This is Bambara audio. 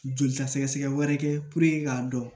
Joli ta sɛgɛsɛgɛ wɛrɛ kɛ k'a dɔn